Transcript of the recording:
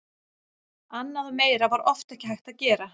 Annað og meira var oft ekki hægt að gera.